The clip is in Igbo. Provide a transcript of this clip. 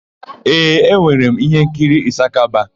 Ee, e nwere m íhénkiri Ịsakaba.